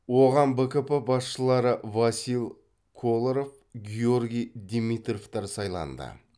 оған бкп басшылары васил коларов георгии димитровтар сайланды